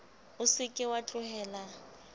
o se ke wa tlohela